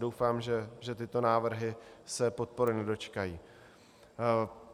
Doufám, že tyto návrhy se podpory nedočkají.